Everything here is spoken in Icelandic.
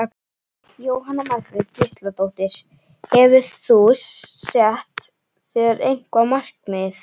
Jóhanna Margrét Gísladóttir: Hefur þú sett þér eitthvað markmið?